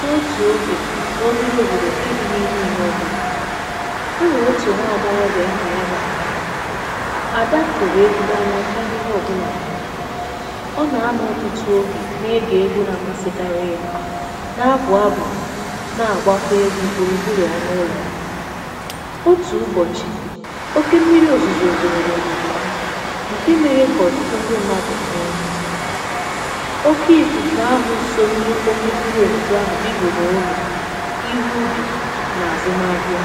N’otù ogè n’oberė òbòdò ǹke dị n’imi ime òbòdò, e nwèrè otù nwaàgbọghọbị̀ ahà ya bụ̀ Ada. Ada hụ̀rụ̀ egwu̇ n’anya karị̇ị ihe ọ̀bụlà n’ụ̀wà. Ọ nà-anọ̇ ọtụtụ ogè na-egè egwu̇ na-amasịkarị yȧ, na-abụ̀ abụ̀ na-àgbakwa egwu̇ gburugburù ọ̀ n’ụlọ̀ ya. Otù ụbọ̀chị̀ oke mmiri̇ òzùzù zùrù n’òbòdò ha ǹke mere kà ọ̀tụtụ ndị mmadụ̀ nwee nwute. Oke ifufe ahụ so oke mmiri ozuzo ahụ bibiri ụlọ, ihu ubì nà àzụmahịa,